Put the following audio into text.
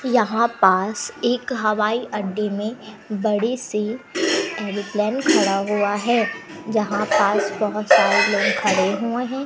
यहां पास एक हवाई अड्डे में बड़ीसी एरोप्लेन खड़ा हुआ हैं जहां पास बहोत सारे लोग खड़े हुए हैं।